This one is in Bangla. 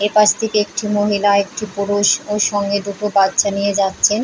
এপাশ থেকে একটি মহিলা একটি পুরুষ ও সঙ্গে দুটো বাচ্ছা নিয়ে যাচ্ছেন ।